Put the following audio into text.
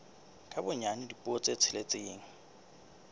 ka bonyane dipuo tse tsheletseng